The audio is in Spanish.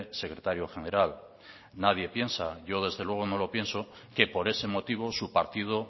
secretario general nadie piensa yo desde luego no lo pienso que por ese motivo su partido